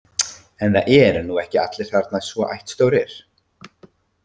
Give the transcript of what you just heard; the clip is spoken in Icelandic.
En það eru nú ekki allir þarna svo ættstórir